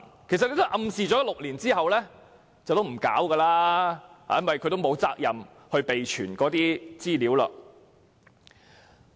其實，政府暗示罪行發生6年後不會再處理，因為機構並沒有責任備存資料超過6年。